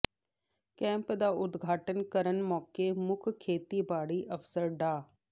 camp ਦਾ ਉਦਘਾਟਨ ਕਰਨ ਮੌਕੇ ਮੁੱਖ ਖੇਤੀਬਾੜੀ ਅਫ਼ਸਰ ਡਾ